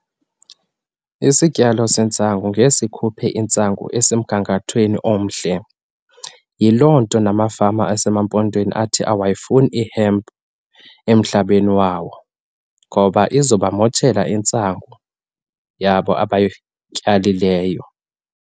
Isityalo sentsangu ngeke sikhuphe intsangu esemgangathweni omhle, yiloo nto namafama asemaMpondweni athi awayifuni i-hemp emhlabeni wawo, ngoba izoba motshela intsangu yabo abayityalileyo.